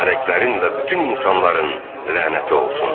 mələklərin və bütün insanların lənəti olsun.